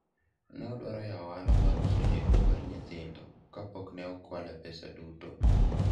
ne odwaro yawo ohala mar lewni mar nyithindo kapok ne okwale pesa duto